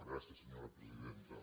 gràcies senyora presidenta